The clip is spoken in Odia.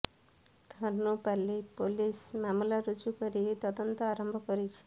ଧନୁପାଲି ପୋଲିସ ମାମଲା ରୁଜୁ କରି ତଦନ୍ତ ଆରମ୍ଭ କରିଛି